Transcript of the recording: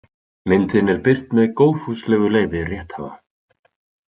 Myndin er birt með góðfúslegu leyfi rétthafa.